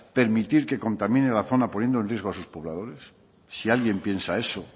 permitir que contamine la zona poniendo en riesgo a sus pobladores si alguien piensa eso